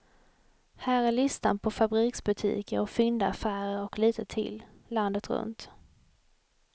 Här är listan på fabriksbutiker och fyndaffärer och lite till, landet runt.